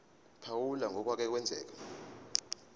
phawula ngokwake kwenzeka